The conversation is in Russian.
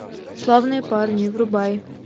славные парни врубай